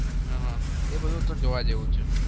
હહ એ બધું તો જોવા જેવું છે.